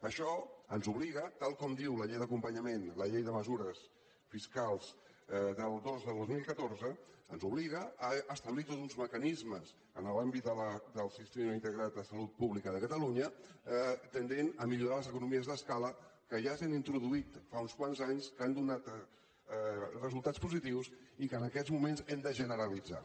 això ens obliga tal com diu la llei d’acompanyament la llei de mesures fiscals dos dos mil catorze a establir tots uns mecanismes en l’àmbit del sistema integrat de salut pública de catalunya tendents a millorar les economies d’escala que ja s’han introduït fa uns quants anys que han donat resultats positius i que en aquests moments hem de generalitzar